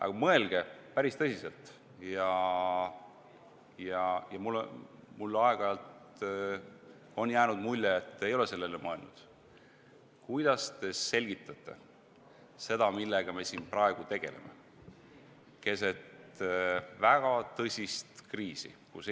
Aga mõelge päris tõsiselt – mulle on aeg-ajalt jäänud mulje, et te ei ole sellele mõelnud –, kuidas te selgitate seda, millega me siin praegu, keset väga tõsist kriisi tegeleme.